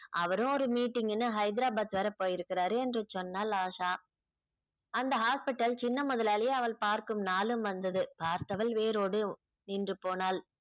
அவரும் ஒரு meeting ன்னு ஹைதராபாத் வர போயிருக்கிறார் என்று சொன்னாள் ஆஷா அந்த hospital சின்ன முதலாளி அவள் பார்க்கும் நாளும் வந்தது பார்த்தவள் வேரோடு நின்று போனாள்